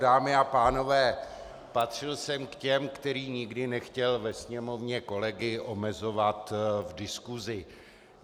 Dámy a pánové, patřil jsem k těm, který nikdy nechtěl ve Sněmovně kolegy omezovat v diskusi.